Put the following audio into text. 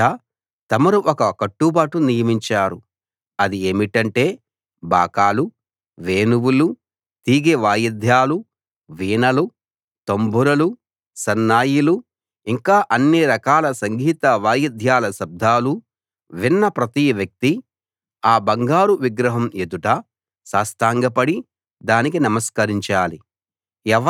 రాజా తమరు ఒక కట్టుబాటు నియమించారు అది ఏమిటంటే బాకాలు వేణువులు తీగె వాయిద్యాలు వీణలు తంబురలు సన్నాయిలు ఇంకా అన్ని రకాల సంగీత వాయిద్యాల శబ్దాలు విన్న ప్రతి వ్యక్తీ ఆ బంగారు విగ్రహం ఎదుట సాష్టాంగపడి దానికి నమస్కరించాలి